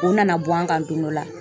U nana bɔ an kan don dɔ la.